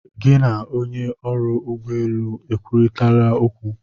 Gị na onye ọrụ ụgbọ elu ekwurịtala okwu?